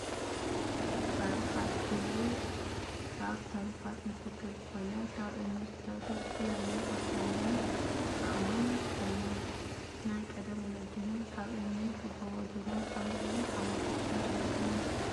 ታሪኻት ፦ እዚ ካብ ታሪካት ምስኽር ዝኮነ ካብ እምኒ ዝተሰርሑ ዝተፈላለዩ ቅርፂ ዘለዎም ኣእማን ኣለው። ናይ ቀደም ወለድና ካብ እምኒ ጎቦ ዱራ ኣምፂኦም ሓወልቲ ኣኽሱም ሰርሖም እዮም።